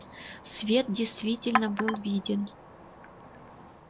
свет действительно был виден